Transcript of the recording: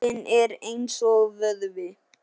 Heilinn er eins og vöðvi.